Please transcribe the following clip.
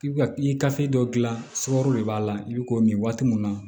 I bi ka i ka dɔ gilan sukaro de b'a la i bi k'o min waati mun na